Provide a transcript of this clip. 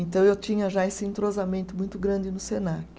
Então eu tinha já esse entrosamento muito grande no Senac.